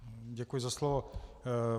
Děkuji za slovo.